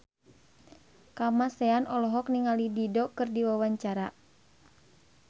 Kamasean olohok ningali Dido keur diwawancara